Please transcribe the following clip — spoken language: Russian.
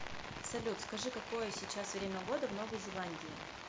салют скажи какое сейчас время года в новой зеландии